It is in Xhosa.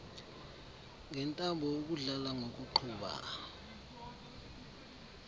ngentambo ukudlala ngokuqhuba